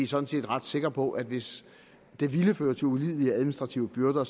sådan set ret sikre på at hvis det ville føre til ulidelige administrative byrder